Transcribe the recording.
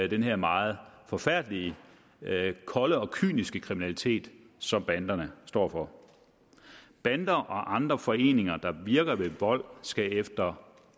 den her meget forfærdelige kolde og kyniske kriminalitet som banderne står for bander og andre foreninger der virker ved vold skal efter